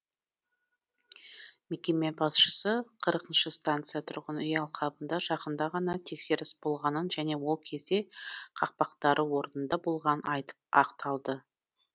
мекеме басшысы қырқыншы станция тұрғын үй алқабында жақында ғана тексеріс болғанын және ол кезде қақпақтары орнында болғанын айтып ақталды